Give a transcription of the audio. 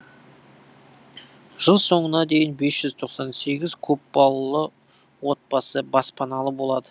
жыл соңына дейін бес жүз тоқсан сегіз көпбалалы отбасы баспаналы болады